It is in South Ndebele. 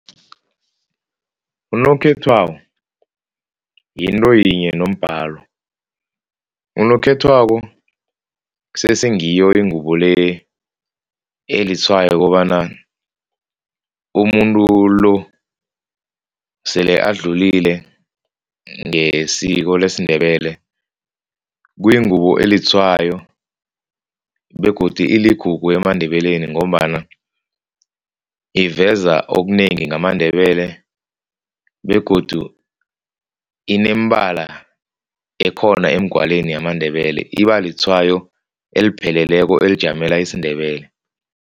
Unokhethwabo yinto yinye nombalo. Unokhethwabo kusese ngiyo ingubo le litshwayo kobana umuntu lo sele adlulile ngesiko lesiNdebele. Kuyingubo elitshwayo begodu iligugu emaNdebeleni ngombana iveza okunengi yamaNdebele begodu inemibala ekhona emgwalweni yamaNdebele. Ibalitshwayo elipheleleko elijamele isiNdebele.